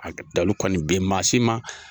A dalu kɔni bi maa si ma